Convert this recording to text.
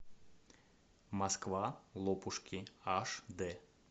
москва лопушки аш дэ